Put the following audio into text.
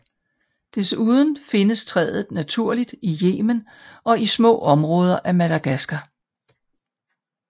Desuden findes træet naturligt i Yemen og i små områder af Madagaskar